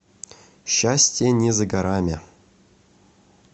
счастье не за горами